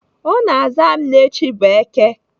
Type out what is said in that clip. Ọ na-aza m na echi bụ Èké